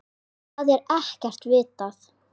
Það er ekkert vitað.